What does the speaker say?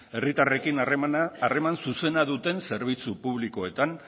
herritarrekin harreman zuzena duten zerbitzu publikoetan